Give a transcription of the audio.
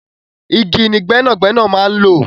Igi ni gbẹ́nàgbẹ́nà máa n̄ lò